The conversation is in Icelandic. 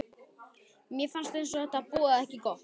Mér fannst eins og þetta boðaði ekki gott.